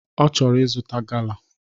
Ochoro izuta gala.